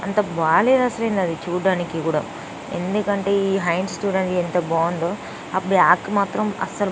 అంత బాలేదు అసలా చూట్టానికి కూడా ఎందుకంటె ఈ హ్యాండ్స్ చుడండి ఎంత బాగుందో ఆ బ్యాక్ మాత్రం ఆస --